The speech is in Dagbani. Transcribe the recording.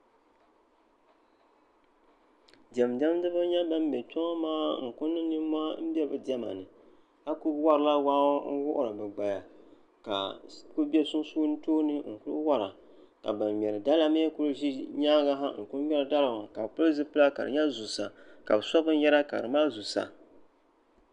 Diɛmdiɛdiba n-nyɛ ban be kpe maa niŋ nimmɔhi ka kuli warila wahi ŋɔ n-wuhiri bɛ gbaya ka ba ŋmɛri dala ŋɔ kuli ʒi nyaaŋa sa n-kuli ŋmɛra ka bɛ pili zupila ka di nyɛ zuɣusa ka bɛ so binyɛra ka di mali zusa